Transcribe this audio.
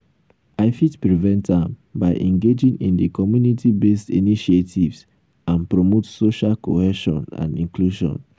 i fit prevent am by engaging in di community-based initiatives and promote social cohesion and inclusion.